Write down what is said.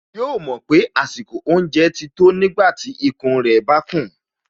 Yóò mọ̀ pé àsìkò oúnjẹ ti tó nígbàtí ikùn rẹ̀ bá kùn